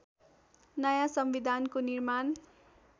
नयाँ संविधानको निर्माण